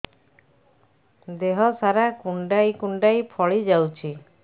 ଦେହ ସାରା କୁଣ୍ଡାଇ କୁଣ୍ଡାଇ ଫଳି ଯାଉଛି